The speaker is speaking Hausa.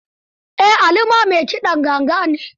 Eh, Ali ma mai kiɗan ganga ne.